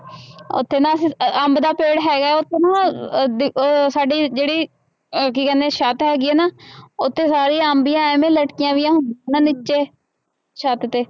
ਉੱਥੇ ਨਾ ਅਸੀਂ ਅੰ ਅੰਬ ਦਾ ਪੇੜ ਹੈਗਾ ਹੈ ਉੱਥੇ ਨਾ ਅਹ ਸਾਡੀ ਜਿਹੜੀ ਅਹ ਕੀ ਕਹਿੰਦੇ ਛੱਤ ਹੈਗੀ ਹੈ ਨਾ ਉੱਥੇ ਸਾਰੀ ਅੰਬੀਆਂ ਇਵੇਂ ਲਟਕੀਆਂ ਹੋਈਆਂ ਨਾ ਨੀਚੇ ਛੱਤ ਤੇ